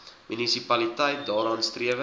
munisipaliteit daarna strewe